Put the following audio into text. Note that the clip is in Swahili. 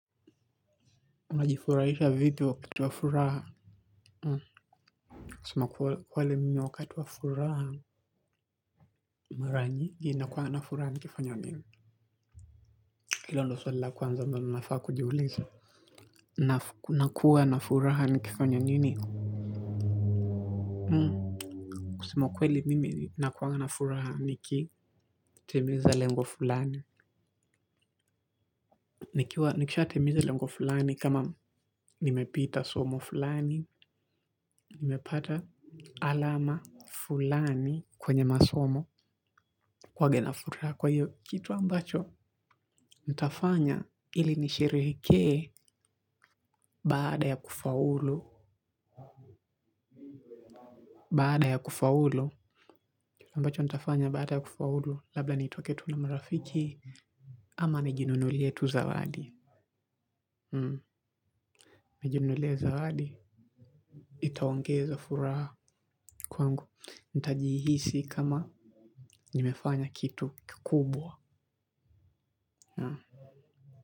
Unajifuraisha vipi wakati wa furaha kusema kweli mimi wakati wa furaha. Maranyingi nakuwa na furaha nikifanyo nini. Hilo ndo sula kwanza mbano nafaa kujiuliza. Nakuwa na furaha nikifanya nini? Hmm. Kusema ukweli mimi nakuwa na furaha niki timiza lengo fulani. Nikisha timiza lengo fulani kama nimepita somo fulani nimepata alama fulani kwenye masomo kwaga nafuraha kwa hiyo kitu ambacho ntafanya ili nishereheke baada ya kufaulu baada ya kufaulu ambacho ntafanya baada ya kufaulu labla nitoke tu na marafiki ama nijinunulie tu zawadi nijinunulie tu zawadi itaongeza furaha kwangu ntajihisi kama nimefanya kitu kukubwa ya.